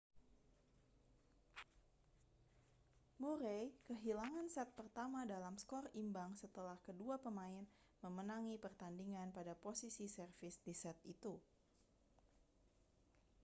murray kehilangan set pertama dalam skor imbang setelah kedua pemain memenangi pertandingan pada posisi servis di set itu